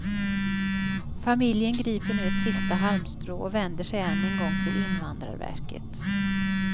Familjen griper nu ett sista halmstrå och vänder sig än en gång till invandrarverket.